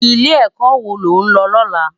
Ilé èkò wó ló n lò lòlá?